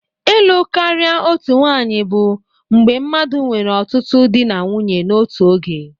Ịlụ karịa otu nwanyị bụ mgbe mmadụ nwere ọtụtụ di na nwunye n'otu oge.